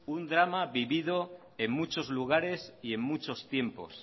un drama vivido en muchos lugares y en muchos tiempos